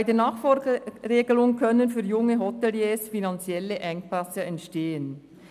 Bei der Nachfolgeregelung können für junge Hoteliers finanzielle Engpässe entstehen.